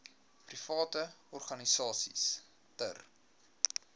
private organisasies ter